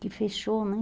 Que fechou, né?